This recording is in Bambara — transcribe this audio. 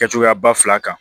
Kɛ cogoya ba fila kan